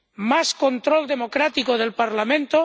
¿Más control democrático del Parlamento?